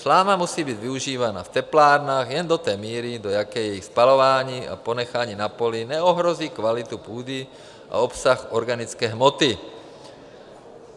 Sláma musí být využívána v teplárnách jen do té míry, do jaké její spalování a ponechání na poli neohrozí kvalitu půdy a obsah organické hmoty.